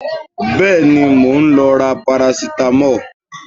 Bẹ́ẹ̀ni, mò ń lọ ra parasitamọ́ọ̀